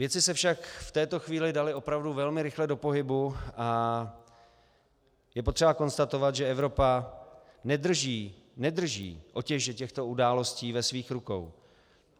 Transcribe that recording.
Věci se však v této chvíli daly opravdu velmi rychle do pohybu a je potřeba konstatovat, že Evropa nedrží otěže těchto událostí ve svých rukou.